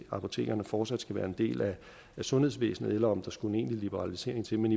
apotekerne fortsat skal være en del af sundhedsvæsenet eller om der skal en egentlig liberalisering til men